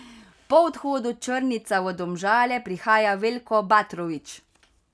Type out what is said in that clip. Po odhodu Črnica v Domžale prihaja Veljko Batrović.